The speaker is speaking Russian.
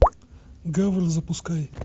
гавр запускай